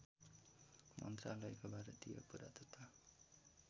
मन्त्रालयको भारतीय पुरातत्त्व